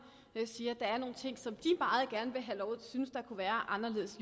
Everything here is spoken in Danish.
siger at der er nogle ting som de meget gerne vil have lov til at synes kunne være anderledes